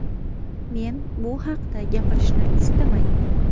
Men bu haqida gapirishni istamayman.